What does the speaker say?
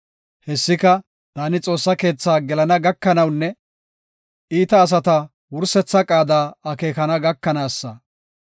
Hessika taani Xoossa keethaa gelana gakanawunne iita asata wursetha qaada akeekana gakanaasa.